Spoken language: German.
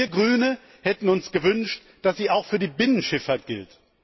Wir Grüne hätten uns gewünscht, dass sie auch für die Binnenschifffahrt gilt.